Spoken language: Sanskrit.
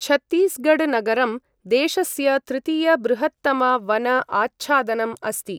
छत्तीसगढ नगरं देशस्य तृतीय बृहत्तम वन आच्छादनम् अस्ति ।